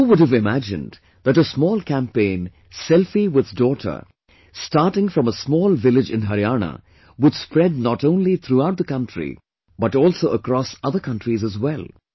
Who would have imagined that a small campaign "selfie with daughter"starting from a small village in Haryana would spread not only throughout the country but also across other countries as well